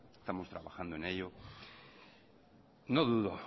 estamos trabajando en ello no dudo